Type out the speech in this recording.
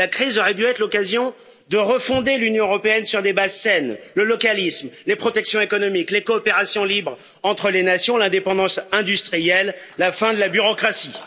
la crise aurait dû être l'occasion de refonder l'Union européenne sur des bases saines, le localisme, les protections économiques les coopérations libres entre les nations, l'indépendance industrielle, la fin de la bureaucratie.